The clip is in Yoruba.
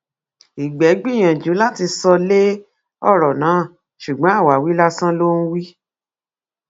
ìgbẹ gbìyànjú láti sọ lé ọrọ náà ṣùgbọn àwáwí lásán ló ń wí